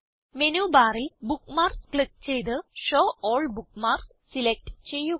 menu ബാറിൽ bookmarks click ചെയ്ത് show all bookmarks select ചെയ്യുക